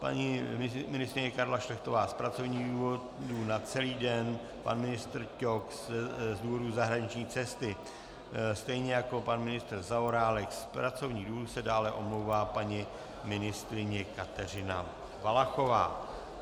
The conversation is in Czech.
paní ministryně Karla Šlechtová z pracovních důvodů na celý den, pan ministr Ťok z důvodu zahraniční cesty stejně jako pan ministr Zaorálek, z pracovních důvodů se dále omlouvá paní ministryně Kateřina Valachová.